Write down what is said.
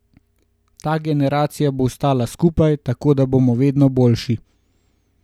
Ta generacija bo ostala skupaj, tako da bomo vedno boljši.